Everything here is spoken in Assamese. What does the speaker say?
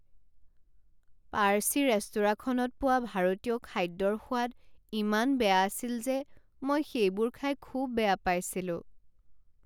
পাৰ্চী ৰেস্তোৰাঁখনত পোৱা ভাৰতীয় খাদ্যৰ সোৱাদ ইমান বেয়া আছিল যে মই সেইবোৰ খাই খুব বেয়া পাইছিলোঁ।